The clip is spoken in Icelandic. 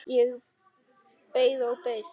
Ég beið og beið.